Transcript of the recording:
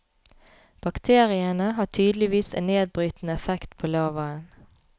Bakteriene har tydeligvis en nedbrytende effekt på lavaen.